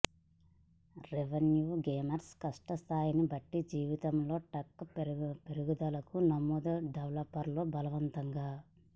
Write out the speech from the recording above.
review gamers కష్టం స్థాయిని బట్టి జీవితంలో ట్యాంక్ పెరుగుదల నమోదు డెవలపర్లు బలవంతంగా